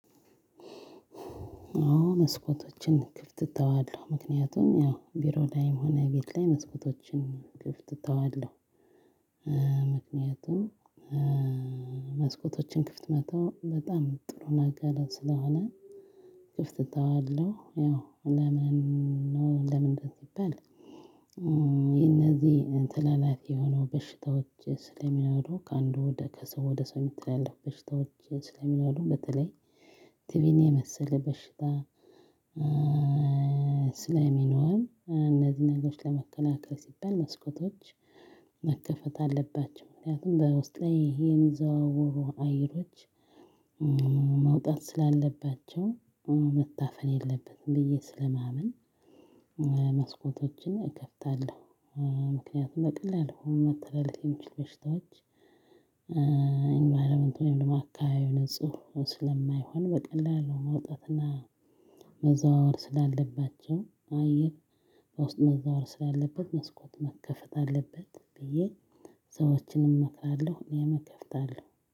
አዎ መስኮቶችን ክፍት እተዋለሁ። ምክንያቱም ያው ቢሮ ላይም ሆነ ቤት ላይ መስኮቶችን ክፍት ተዋለው። ምክንያቱም መስኮቶችን ክፍት መተው በጣም ጥሩ ነገር ስለሆነ ክፍት ተዋለሁ። ያው ለምን ነው ለምንድን ነው? ቢባል የነዚህ ተላላፊ የሆኑ በሽታዎች ስለሚኖሩ ከአንዱ ወደ ከሰው ወደ ሰው የሚተላለፉ በሽታዎች ስለሚኖሩ በተለይ ቲቪን የመሰለ በሽታ ስለሚኖር እነዚህን ነገሮች ለመከላከል ሲባል መስኮቶች መከፈት አለባቸው። ምክንያቱም በውስጤ የሚዘዋወሩ አየሮች መውጣት ስላለባቸው መታፈን የለበትም ብዬ ስለማመን መስኮቶችን እከፍታለሁ። ምክንያቱም በቀላሉ መተላለፍ የሚችል በሽታዎች ኢንቫይሮመንቱን ወይም አካባቢው ንጹህ ስለማይሆን በቀላሉ መውጣትና መዘዋወር ስላለባቸው አየር በውስጥ መዘዋወር ስላለበት መስኮት መከፈት አለበት ብዬ ሰዎችንም እመክራለሁ እኔም እከፍታለሁ።